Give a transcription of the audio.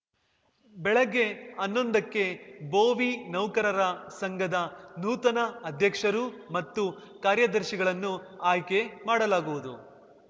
ಬೆಳಗ್ಗೆ ಹನ್ನೊಂದಕ್ಕೆ ಭೋವಿ ನೌಕರರ ಸಂಘದ ನೂತನ ಅಧ್ಯಕ್ಷರು ಮತ್ತು ಕಾರ್ಯದರ್ಶಿಗಳನ್ನು ಆಯ್ಕೆ ಮಾಡಲಾಗುವುದು